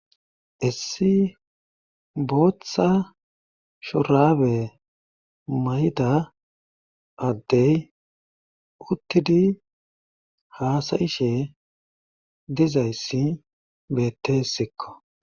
Issi bootha shurraabe mayida addey uttidi haasa7ishe dizayssi beeteesikko.